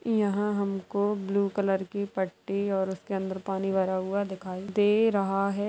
यहाँ हमको blue colour की पट्टी और उसके अंदर पानी भरा हुआ दिखाई दे रहा है।